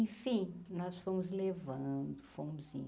Enfim, nós fomos levando, fomos indo.